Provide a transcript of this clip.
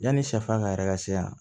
Yanni sɛfan ka yɛrɛ ka se yan